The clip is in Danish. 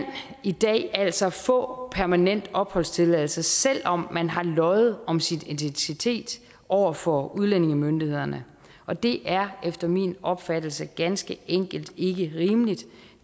altså få permanent opholdstilladelse selv om man har løjet om sin identitet over for udlændingemyndighederne og det er efter min opfattelse ganske enkelt ikke rimeligt